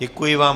Děkuji vám.